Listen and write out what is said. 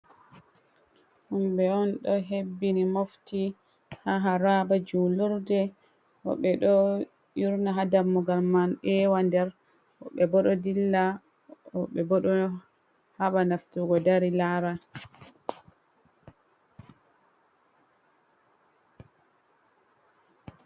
Himbe on do hebbini mofti ha haraba julurde. Wobbe do yurna ha dammugal man ewa nder, wobbe bo do dilla, wobbe bo do haba nastugo dari lara.